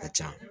A ka can